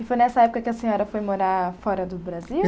E foi nessa época que a senhora foi morar fora do Brasil?